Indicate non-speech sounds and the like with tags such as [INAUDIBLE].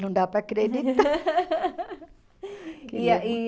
Não dá para acreditar. [LAUGHS] E a e